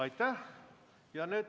Aitäh!